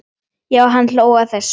Já, hann hló að þessu!